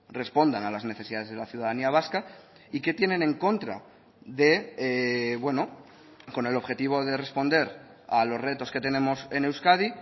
respondan a las necesidades de la ciudadanía vasca y que tienen en contra de bueno con el objetivo de responder a los retos que tenemos en euskadi